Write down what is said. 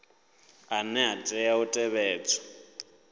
ane a tea u tevhedzwa